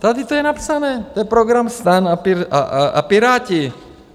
Tady to je napsané, to je program STAN a Piráti.